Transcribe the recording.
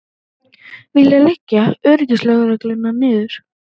Vilja leggja öryggislögregluna niður